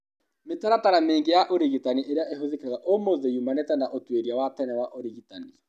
Mĩtaratara mĩingĩ ya ũrigitani ĩrĩa ĩhũthĩkaga ũmũthĩ iumanĩte na ũtuĩria wa tene wa ũrigitani.